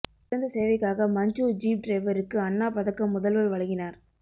சிறந்த சேவைக்காக மஞ்சூர் ஜீப் டிரைவருக்கு அண்ணா பதக்கம் முதல்வர் வழங்கினார்